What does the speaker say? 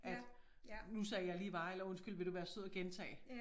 At nu sagde jeg lige hva eller undskyld vil du være sød at gentage